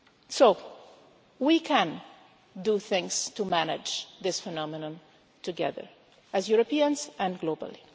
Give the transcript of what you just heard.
So we can do things to manage this phenomenon together, as Europeans and globally.